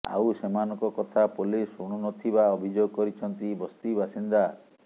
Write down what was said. ଆଉ ସେମାନଙ୍କ କଥା ପୋଲିସ୍ ଶୁଣୁ ନଥିବା ଅଭିଯୋଗ କରିଛନ୍ତି ବସ୍ତି ବାସିନ୍ଦା